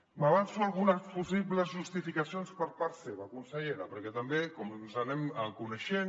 m’avanço a algunes possibles justificacions per part seva consellera perquè tam·bé com ens anem coneixent